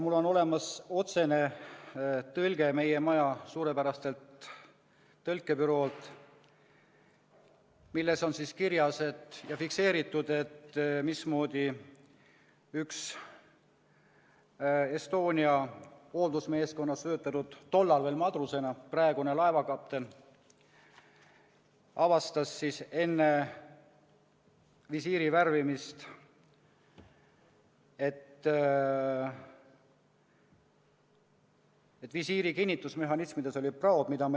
Mul on olemas tõlge meie maja suurepäraselt tõlkebüroolt, milles on kirjas ja fikseeritud, mismoodi üks Estonia hooldusmeeskonnas töötanud madrus – tollal veel madrus, praegu laevakapten – avastas enne visiiri värvimist, et visiiri kinnitusmehhanismides olid praod.